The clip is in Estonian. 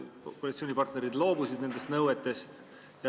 Kas koalitsioonipartnerid loobusid nendest nõuetest?